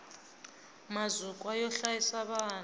mazukwa yo hlayisa vana